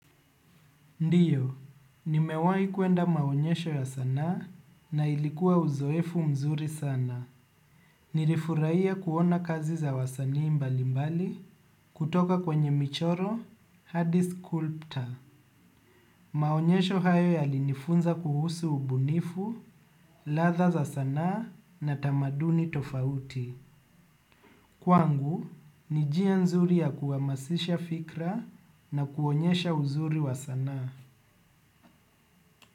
Ndiyo, nimewahi kuenda maonyesho ya sanaa na ilikuwa uzoefu mzuri sana. Nilifurahia kuona kazi za wasanii mbali mbali kutoka kwenye michoro hadi sculptor. Maonyesho hayo yalinifunza kuhusu ubunifu, ladha za sanaa na tamaduni tofauti. Kwangu, ni njia nzuri ya kuamasisha fikra na kuonyesha uzuri wa sanaa.